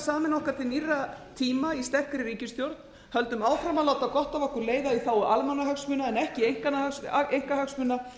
okkur til nýrra tíma í sterkri ríkisstjórn höldum áfram að láta gott af okkur leiða í þágu almannahagsmuna en ekki einkahagsmuna